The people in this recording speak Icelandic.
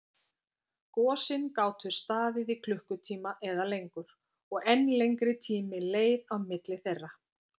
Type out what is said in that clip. Gosin gátu staðið í klukkutíma eða lengur, og enn lengri tími leið á milli þeirra.